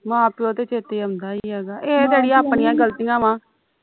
ਮਾਂ ਪਿਉ ਤੇ ਚੇਤੇ ਆਉਂਦਾ ਹੀਗਾ ਇਹ ਤੇ ਅੜੀਏ ਆਪਣੀਆਂ ਗਲਤੀਆਂ ਵਾ